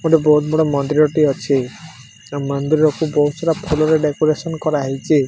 ଗୋଟେ ବୋହୁତ ବଡ଼ ମନ୍ଦିର ଟିଏ ଅଛି। ଏବଂ ମନ୍ଦିରକୁ ବୋହୁତ୍ ସାରା ଫୁଲରେ ଡେକୋରେସନ କରାହେଇଚି।